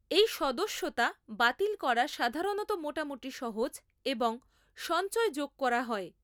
এই সদস্যতা বাতিল করা সাধারণত মোটামুটি সহজ এবং সঞ্চয় যোগ করা হয়।